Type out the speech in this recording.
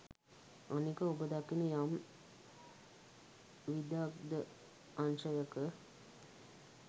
අනික ඔබ දකින යම් විදග්ධ අංශයක